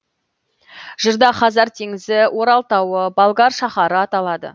жырда хазар теңізі орал тауы болгар шаһары аталады